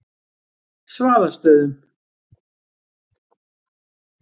Svaðastöðum